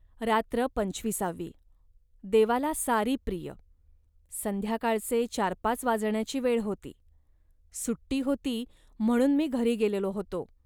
रात्र पंचविसावी देवाला सारी प्रिय..संध्याकाळचे चारपाच वाजण्याची वेळ होती. सुट्टी होती, म्हणून मी घरी गेलेलो होतो